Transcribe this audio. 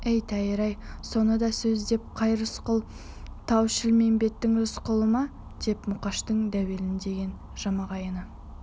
ей тәйір-ай соны да сөз деп қай рысқұл тау-шілмембеттің рысқұлы ма деп мұқыштың дәулен деген жамағайыны